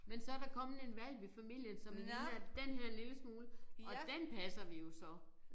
Men så der kommet en hvalp i familien som ligner denne her en lille smule og den passer vi jo så